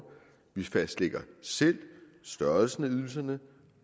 vi fastlægger selv størrelsen af ydelserne